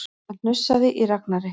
Það hnussaði í Ragnari.